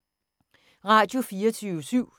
Radio24syv